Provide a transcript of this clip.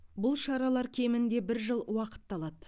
бұл шаралар кемінде бір жыл уақытты алады